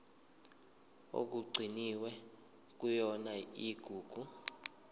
okugcinwe kuyona igugu